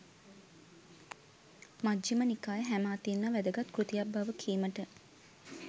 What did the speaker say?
මජ්ඣිම නිකාය හැම අතින්ම වැදගත් කෘතියක් බව කීමට